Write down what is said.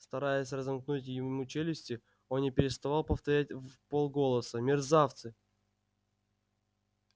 стараясь разомкнуть ему челюсти он не переставал повторять вполголоса мерзавцы